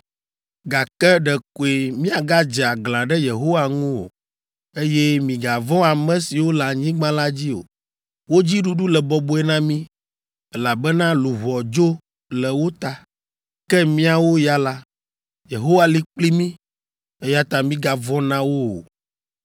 Gake ɖekoe miagadze aglã ɖe Yehowa ŋu o, eye migavɔ̃ ame siwo le anyigba la dzi o, wo dzi ɖuɖu le bɔbɔe na mí, elabena luʋɔ dzo le wo ta, ke míawo ya la, Yehowa li kpli mí, eya ta migavɔ̃ na wo o.”